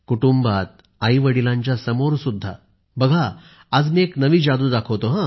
कुटुंबात सुद्धा आईवडिलांच्या समोर सुद्धा बघा आज मी एक नवी जादू दाखवतो